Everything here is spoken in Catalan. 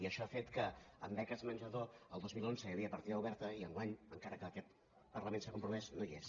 i això ha fet que en beques menjador el dos mil onze hi havia partida oberta i enguany encara que en aquest parlament s’hi ha compromès no hi és